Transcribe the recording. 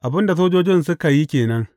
Abin da sojojin suka yi ke nan.